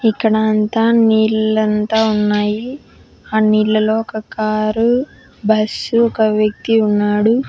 ఇక్కడ అంతా నీళ్లంతా ఉన్నాయి. ఆ నీళ్లలో ఒక కారు బస్సు ఒక వ్యక్తి ఉన్నాడు.